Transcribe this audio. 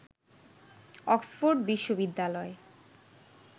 Oxford বিশ্ববিদ্যালয়